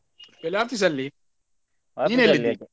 ಎಲ್ಲಿ office ಅಲ್ಲಿ ?